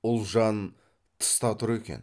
ұлжан тыста тұр екен